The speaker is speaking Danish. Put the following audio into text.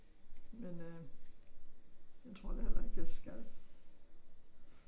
Men øh jeg tror da heller ikke jeg skal